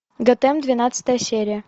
готэм двенадцатая серия